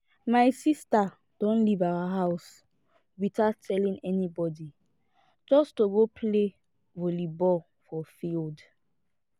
my sister don leave our house without telling anybody just to go play volley ball for field